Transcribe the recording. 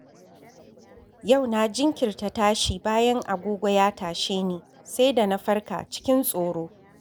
Yau na jinkirta tashi bayan agogo ya tashe ni, sai da na farka cikin tsoro.